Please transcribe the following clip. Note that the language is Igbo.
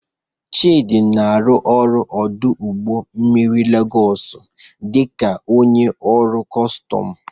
Chidi na-arụ ọrụ n'ọdụ ụgbọ mmiri Legos dị ka onye ọrụ kọstọm.